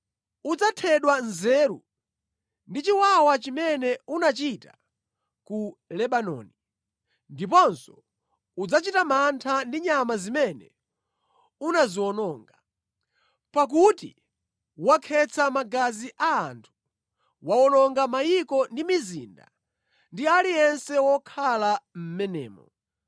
Udzathedwa nzeru ndi chiwawa chimene unachita ku Lebanoni, ndiponso udzachita mantha ndi nyama zimene unaziwononga. Pakuti wakhetsa magazi a anthu; wawononga mayiko ndi mizinda ndi aliyense wokhala mʼmenemo.